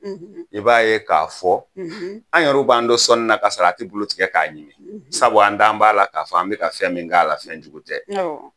I b'a ye k'a fɔ an yɛrɛ b'a n to sɔnni na ka salati bulu tigɛ k'a ɲimi sabu an d'an b'a la k'a fɔ an bɛ fɛn min k'a la fɛnjugu tɛ